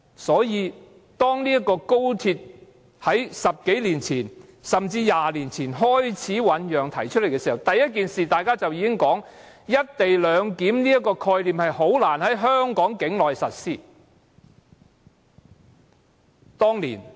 所以，當高鐵在10多年前、甚至20多年前開始醞釀和提出時，大家提出的第一件事，便是"一地兩檢"這個概念難以在香港境內實施。